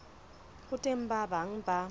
ho teng ba bang ba